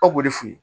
Aw b'o de f'i ye